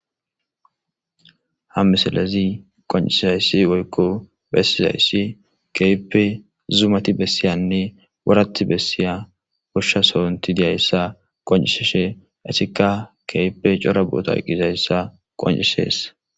Ha misalezi qoncisizayssi woykko bessizayssi keype zumati bessiyanne wurati bessiya gushsha soonti diyayssa qoncisishe essikka keype cora booto qqizayssa qoncisees.